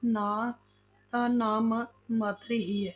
ਨਾ ਅਹ ਨਾਮ ਮਾਤਰ ਹੀ ਹੈ।